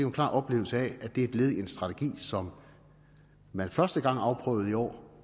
en klar oplevelse af at det er et led i en strategi som man første gang afprøvede i år